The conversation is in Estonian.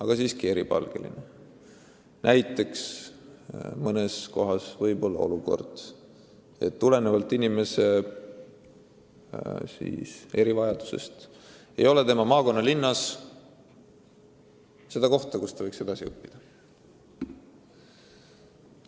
Näiteks mõne erivajadusega noore puhul võib olla olukord, et tema maakonnalinnas ei ole kooli, kus ta võiks edasi õppida.